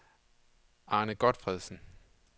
Arne Gotfredsen